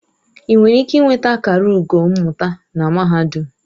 Ị nwere ike nweta akara ugo mmụta na mahadum.